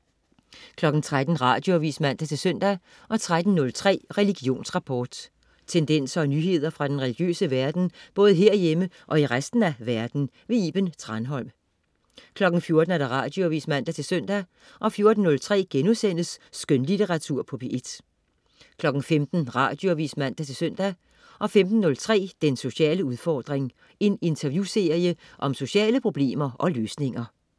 13.00 Radioavis (man-søn) 13.03 Religionsrapport. Tendenser og nyheder fra den religiøse verden, både herhjemme og i resten af verden. Iben Thranholm 14.00 Radioavis (man-søn) 14.03 Skønlitteratur på P1* 15.00 Radioavis (man-søn) 15.03 Den sociale udfordring. En interviewserie om sociale problemer og løsninger